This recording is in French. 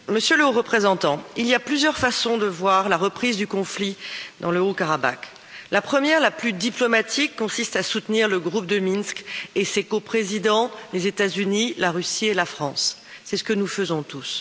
Monsieur le Président, Monsieur le Haut représentant, il y a plusieurs façons de voir la reprise du conflit dans le Haut Karabakh. La première, la plus diplomatique, consiste à soutenir le groupe de Minsk et ses co présidents, les États Unis, la Russie et la France, c'est ce que nous faisons tous.